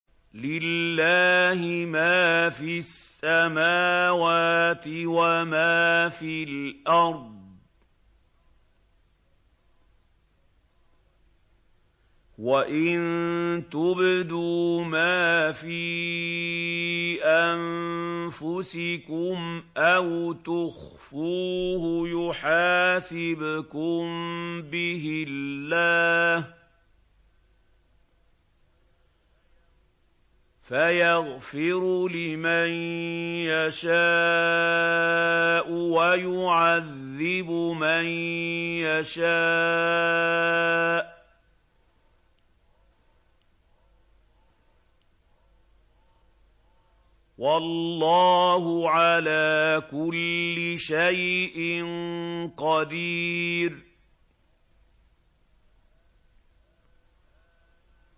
لِّلَّهِ مَا فِي السَّمَاوَاتِ وَمَا فِي الْأَرْضِ ۗ وَإِن تُبْدُوا مَا فِي أَنفُسِكُمْ أَوْ تُخْفُوهُ يُحَاسِبْكُم بِهِ اللَّهُ ۖ فَيَغْفِرُ لِمَن يَشَاءُ وَيُعَذِّبُ مَن يَشَاءُ ۗ وَاللَّهُ عَلَىٰ كُلِّ شَيْءٍ قَدِيرٌ